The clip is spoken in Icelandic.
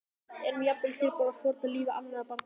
Erum við jafnvel tilbúin að fórna lífi annarra barna?